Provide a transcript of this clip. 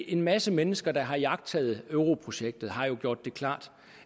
en masse mennesker der har iagttaget europrojektet har jo gjort det klart